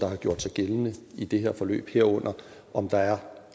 har gjort sig gældende i det her forløb herunder om der er